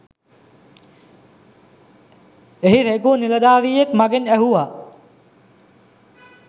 එහි රේගුª නිලධාරියෙක් මගෙන් ඇසුවා